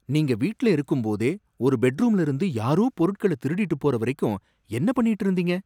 நீங்க வீட்ல இருக்கும்போதே ஒரு பெட்ரூம்ல இருந்து யாரோ பொருட்கள திருடிட்டு போற வரைக்கும் என்ன பண்ணிட்டு இருந்தீங்க